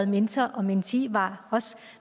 mentor og mentee og var også